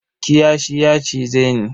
Kiyashi ya cize ni.